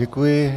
Děkuji.